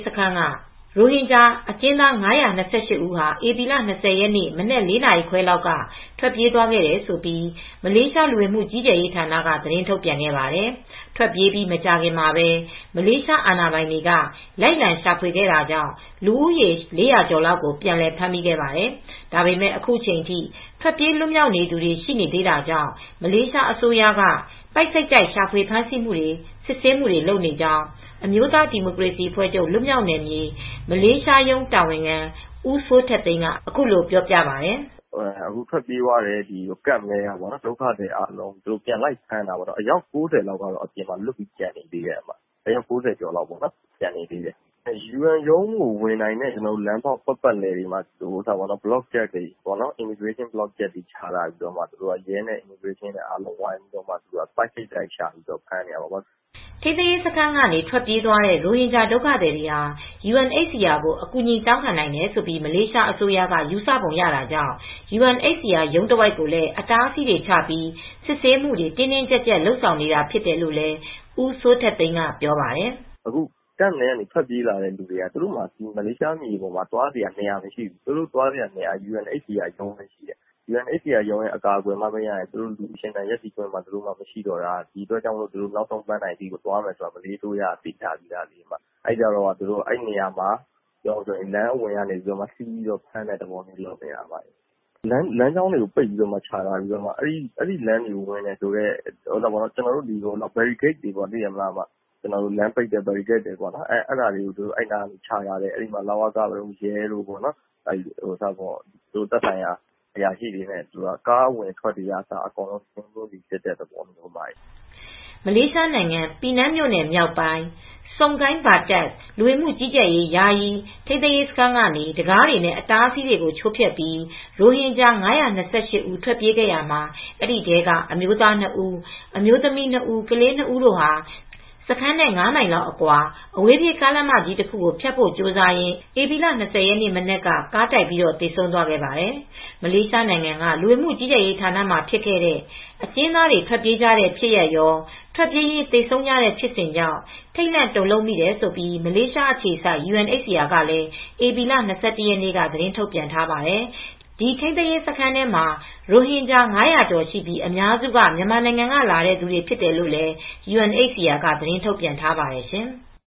စခန်းက ရိုဟင်ဂျာ အကျဉ်းသား ၅၂၈ဦး ဟာ ဧပြီလ၂၀ ရက် မနက်၄နာရီခွဲလောက်က ထွက်ပြေးသွားခဲ့တယ်လို့မလေးရှားလူဝင်မူ ကြီးကြပ်ရေးဌာနက သတင်းထုတ်ပြန်ခဲ့ပါတယ်။ ထွက်ပြေးပြီး မကြာခင်မှာပဲ မလေးရှား အာဏာပိုင်တွေက လိုက်လံရှာဖွေခဲ့တာကြောင့် လူဦးရေ ၄၀၀ ကျော်လောက်ကို ပြန်လည်ဖမ်းမိခဲ့ပါတယ်။ ဒါပေမဲ့ ခုချိန်ထိ ထွက်ပြေးလွတ်မြောက်နေသူတွေ ရှိနေသေးတာကြောင့်မလေးရှားအစိုးရက ပိုက်စိတ်တိုက်ရှာဖွေ ဖမ်းဆီးမူတွေ စစ်ဆေးမူတွေ လုပ်နေကြောင်း အမျိုးသားဒီမိုကရေစီအဖွဲချုပ် မလေးရှားရုံး တာဝန်ခံ ဦးစိုးထက်သိန်း ကအခုလိုပြောပြပါတယ်။ " အခုထွက်ပြေးသွားတဲ့ ထိန်းသိမ်းရေး camp ထဲက ဒုက္ခသည်တွေအားလုံးကို ပြန်လိုက်ဖမ်းတာပေါ့ နော် အယောက် ၉၀ ကျော်လောက်ကတော့ အပြင်မှာကျန်နေသေးတယ် ယူအန်ရုံးကိုဝင်နိုင်တဲ့ လမ်းတွေအားလုံးမှာ immigration Block တွေထားပြီး လဝက နဲ့ ရဲတွေထားပြီး ပိုက်စိတ်တိုက်ရှာပြီးဖမ်းနေတာပေါ့နော်" ထိမ်းသိမ်းရေးစခန်းကနေ ထွက်ပြေးသွားတဲ့ ရိုဟင်ဂျာဒုက္ခသည်တွေ ဟာ UNHCR ကို အကူညီတောင်းခံနိုင်တယ်လို့မလေးရှားအစိုးရ က ယူဆပုံရတာကြောင့် UNHCR ရုံးတဝိုက်မှာလည်း အတားအဆီးတွေချပြီး စစ်ဆေးမူတွေ တင်းတင်းကြပ်ကြပ် လုပ်ဆောင်နေတာ ဖြစ်တယ်လို့ ဦးစိုးထက်သိန်းကပြောပါတယ် ။ " အခုက camp ထဲမှ ာထွက်ပြေးလာတဲ့ သူတွေက သူတိုက မလေးရှားမှာ သွားစရာနေရာရှိတာမဟုတ်ဘူး ။ သူတို့က သွားစရာက UNHCR ရုံးကိုပဲ သွားစရာရှိတာ ။ ယူအန်ရုံးရဲ့အကာအကွယ်မရရင် သူတို့ရှင်သန်ဖို့မှ မရှိတော့တာ။ အဲဒါကြောင့် နောက်ဆုံးပန်းတိုင်ကို သွားမယ်ဆိုတာ မလေးရှားအစိုးရကလည်းသိတယ်။ အဲဒါကြောင့်အဲဒီနေရာမှာ လမ်းအဝင်ကနေ ဖမ်းတဲ့သဘောမျိုးလုပ်နေတာ။ လမ်းကြောင်းအဝင်တွေမှာချထားပြီး လမ်းပိတ်ပြီး Barricade တွေချထားတယ်။ လဝကတို့ ရဲတို့က သက်ဆိုင်ရာအရာရှိတွေနဲ့ ကားအဝင်အထွက်တွေကိုပါ စစ်တဲ့သဘောပေါ့နော်" မလေးရှားနိုင်ငံ ပီးနန်းမြို့နယ် မြောက်ပိုင်း Sungai Bakap လူဝင်မူကြီးကြပ်ရေး ယာယီထိမ်းသိမ်းရေး စခန်းကနေ တံခါးတွေနဲ့ အတားအဆီးတွေကို ချိုးဖျက်ပြီး ရိုဟင်ဂျာ ၅၂၈ ဦး ထွက်ပြေးခဲ့ရာမှာ အဲဒီထဲက အမျိုးသား ၂ ဦးအမျိုးသမီး ၂ဦး ကလေး၂ဦးတို့ဟာ စခန်းနဲ့ ၅ မိုင်လောက် အကွာအဝေးပြေးကားလမ်းမကြီးတခုကိုဖြတ်ဖို့ကြိုးစားရင်း ဧပြီလ ၂၀ရက်နေ့မနက်က ကားတိုက်သေဆုံးသွားခဲ့ပါတယ် ။ မလေးရှားနိုင်ငံက လူဝင်မှုကြီးကြပ်ရေးဌာနမှာ ဖြစ်ခဲ့တဲ့ အကျဉ်းသားတွေ ထွက်ပြေးကြတဲ့ ဖြစ်ရပ်ရော ထွက်ပြေးရင်း သေဆုံးကြတဲ့ဖြစ်စဉ်ကြောင့် ထိတ်လန့်တုန်လှုပ်မိတယ်လို့ မလေးရှားအခြေစိုက် UNHCR ကလည်း ဧပြီလ ၂၁ရက်နေ့ကသတင်းထုတ်ပြန်ထားပါတယ်။ ဒီထိမ်းသိမ်းရေးစခန်းထဲမှာရိုဟင်ဂျာ ၅၀၀ ကျော်ရှိပြီး အများစု မြန်မာနိုင်ငံကလာတဲ့ သူတွေဖြစ်တယ်လို့လည်း UNHCR က သတင်းထုတ်ပြန်ထားပါတယ်ရှင်။